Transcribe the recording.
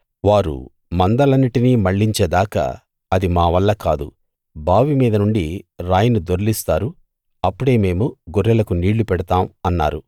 వారు మందలన్నిటినీ మళ్ళించే దాకా అది మా వల్ల కాదు బావి మీద నుండి రాయిని దొర్లిస్తారు అప్పుడే మేము గొర్రెలకు నీళ్ళు పెడతాం అన్నారు